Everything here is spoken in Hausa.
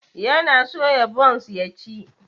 Yana soya bonce ya ci.